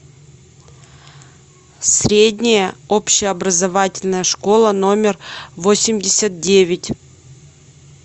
средняя общеобразовательная школа номер восемьдесят девять